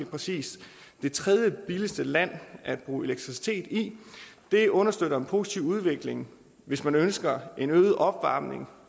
præcis det tredje billigste land at bruge elektricitet i det understøtter en positiv udvikling hvis man ønsker en øget opvarmning